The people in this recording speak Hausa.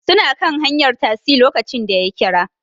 Suna kan hanyar tasi lokacin da ya kira